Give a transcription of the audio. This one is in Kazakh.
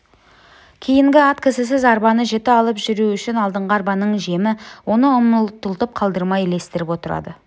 кейінгі ат кісісіз арбаны жіті алып жүру үшін алдыңғы арбаның жемі оны ұмтылтып қалдырмай ілестіріп отырады